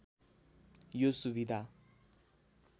यो सुविधा